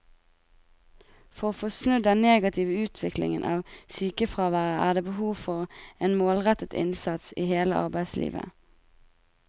For å få snudd den negative utviklingen av sykefraværet er det behov for en målrettet innsats i hele arbeidslivet.